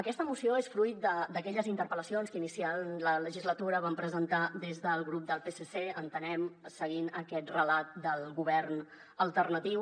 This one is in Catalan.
aquesta moció és fruit d’aquelles interpel·lacions que iniciant la legislatura van presentar des del grup del psc entenem seguint aquest relat del govern alternatiu